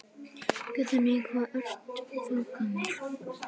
Guðný: Hvað ert þú gömul?